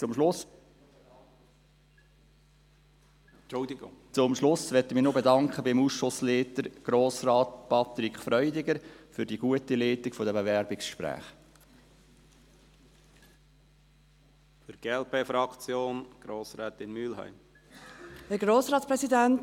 Zum Schluss möchte ich mich beim Ausschussleiter, Grossrat Patrick Freudiger, für die gute Leitung der Bewerbungsgespräche bedanken.